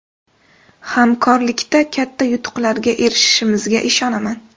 Hamkorlikda katta yutuqlarga erishishimizga ishonaman.